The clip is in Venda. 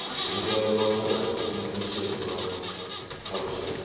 humbelwa pfarelo u netshedzwa ṱhalutshedzo